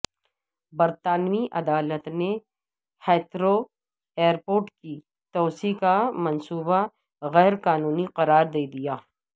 برطانوی عدالت نے ہیتھرو ایئرپورٹ کی توسیع کا منصوبہ غیرقانونی قرار دے دیا